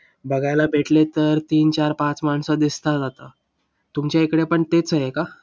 बघायला भेटले तर तीन, चार, पाच माणसं दिसतात आता. तुमच्या इकडे पण तेच आहे का?